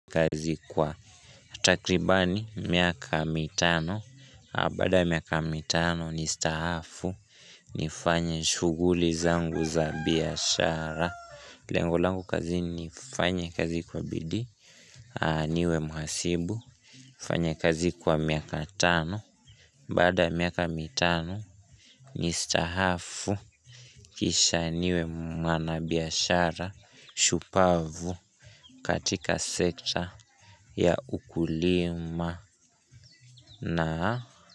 Kazi kwa takribani miaka mitano baada ya miaka mitano ni staafu nifanye shughuli zangu za biashara Lengo langu kazini ni nifanye kazi kwa bidii niwe mhasibu nifanye kazi kwa miaka tano Baada ya miaka mitano Nistaafu Kisha niwe mwanabiashara shupavu katika sekta ya ukulima.